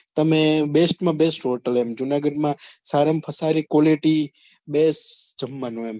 તમે best માં best hotel Junagadh માં સારા માં સારી quality best જમવાનું એમ